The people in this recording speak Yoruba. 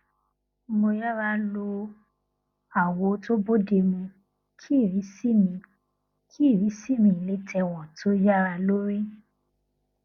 mo yára lo àwọ tó bóde mu kí irísí mi kí irísí mi le tẹwòn tó yára lórí